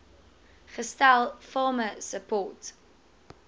gestel farmer support